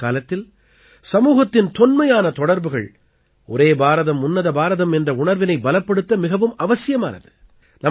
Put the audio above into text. நவீனகாலத்தில் சமூகத்தின் தொன்மையான தொடர்புகள் ஒரே பாரதம் உன்னத பாரதம் என்ற உணர்வினை பலப்படுத்த மிகவும் அவசியமானது